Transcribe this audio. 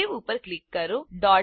save ઉપર click કરો